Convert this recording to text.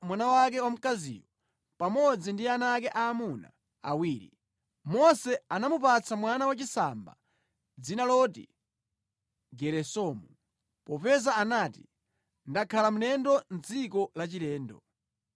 mwana wake wamkaziyo pamodzi ndi ana ake aamuna awiri. Mose anamupatsa mwana wachisamba dzina loti Geresomu popeza anati, “Ndakhala mlendo mʼdziko lachilendo.”